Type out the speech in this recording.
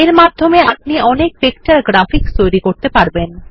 এর মাধ্যমে আপনি অনেক ভেক্টর গ্রাফিক্স তৈরি করতে পারবেন